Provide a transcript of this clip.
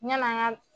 Yann'an ka